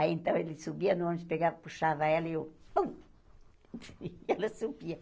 Aí, então, ele subia no ônibus pegava, puxava ela e eu pu... E ela subia.